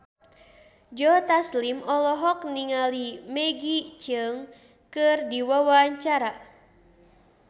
Joe Taslim olohok ningali Maggie Cheung keur diwawancara